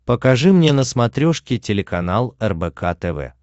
покажи мне на смотрешке телеканал рбк тв